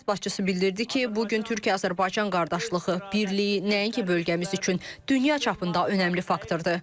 Dövlət başçısı bildirdi ki, bu gün Türkiyə-Azərbaycan qardaşlığı, birliyi nəinki bölgəmiz üçün, dünya çapında önəmli faktordur.